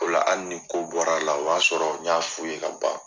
O la hali ni ko bɔr'a la o b'a sɔrɔ n y'a f'u ye ka ban.